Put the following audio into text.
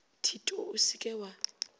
thito o se ke wa